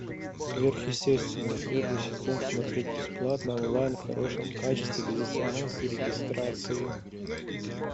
сверхъестественное первый сезон смотреть бесплатно онлайн в хорошем качестве без смс и регистрации